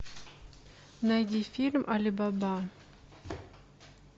найди фильм али баба